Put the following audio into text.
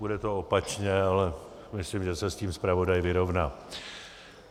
Bude to opačně, ale myslím, že se s tím zpravodaj vyrovná.